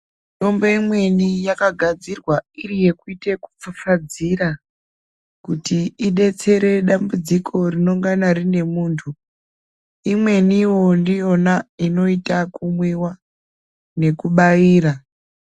Mitombo imweni yakagadzirwa iri yekuite yekupfapfadzira kuti idetsere dambudziko rinongana rine muntu imweniwo ndiyona inoitwa kumwiwa nekubaira.